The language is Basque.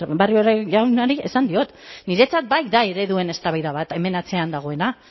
barrio jaunari esan diot niretzat bai da ereduen eztabaida bat hemen atzean dagoena